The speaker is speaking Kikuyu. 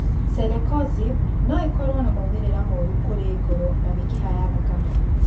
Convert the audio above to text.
Celecoxib no ĩkorũo na moimĩrĩra moru kũrĩ ngoro na mĩkiha ya thakame.